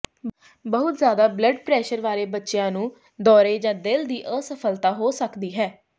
ਬਹੁਤ ਜ਼ਿਆਦਾ blood pressure ਵਾਲੇ ਬੱਚਿਆਂ ਨੂੰ ਦੌਰੇ ਜਾਂ ਦਿਲ ਦੀ ਅਸਫਲਤਾ ਹੋ ਸਕਦੀ ਹੈ